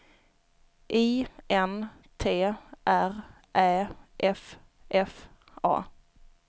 I N T R Ä F F A